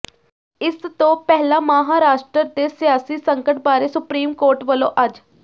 ਇਸ ਤੋਂ ਪਹਿਲਾਂ ਮਹਾਰਾਸ਼ਟਰ ਦੇ ਸਿਆਸੀ ਸੰਕਟ ਬਾਰੇ ਸੁਪਰੀਮ ਕੋਰਟ ਵੱਲੋਂ ਅੱਜ